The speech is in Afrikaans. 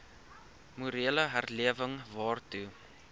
morele herlewing waartoe